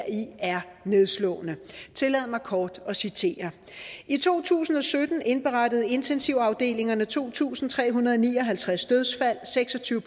i er nedslående tillad mig kort at citere i to tusind og sytten indberettede intensivafdelingerne to tusind tre hundrede og ni og halvtreds dødsfald seks og tyve